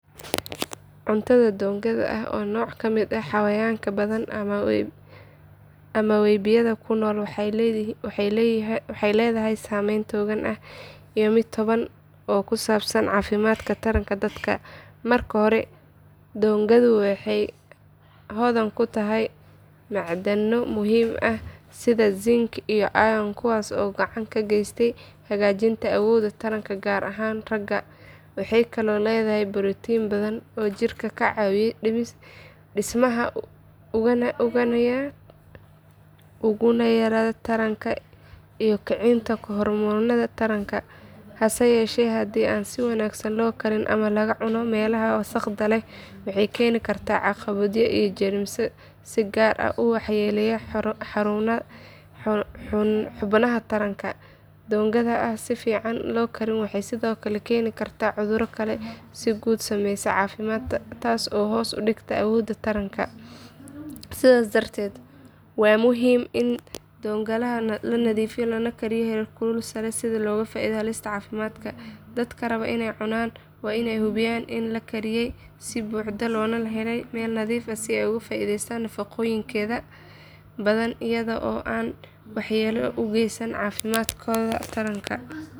Cuntada doongada oo ah nooc ka mid ah xayawaanka badda ama webiyada ku nool waxay leedahay saameyn togan iyo mid taban oo ku saabsan caafimaadka taranka dadka. Marka hore doongadu waxay hodan ku tahay macdano muhiim ah sida zinc iyo iron kuwaas oo gacan ka geysta hagaajinta awoodda taranka gaar ahaan ragga. Waxay kaloo leedahay borotiin badan oo jidhka ka caawiya dhismaha unugyada taranka iyo kicinta hormoonnada taranka. Hase yeeshee haddii aan si wanaagsan loo karin ama laga cuno meelaha wasakhda leh waxay keeni kartaa caabuqyo iyo jeermis si gaar ah u waxyeeleeya xubnaha taranka. Doongada aan si fiican loo karin waxay sidoo kale keeni kartaa cudurro kale oo si guud u saameeya caafimaadka taas oo hoos u dhigta awoodda taran. Sidaas darteed waa muhiim in doongada la nadiifiyo lagana kariyo heerkul sare si looga fogaado halista caafimaad. Dadka raba inay cunaan waa inay hubiyaan in la kariyay si buuxda loona helay meel nadiif ah si ay uga faa’iidaystaan nafaqooyinkeeda badan iyada oo aanay waxyeello u geysan caafimaadkooda taranka.